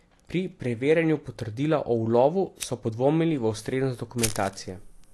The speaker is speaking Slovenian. Pri preverjanju potrdila o ulovu so podvomili v ustreznost dokumentacije.